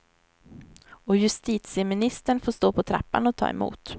Och justitieministern får stå på trappan och ta emot.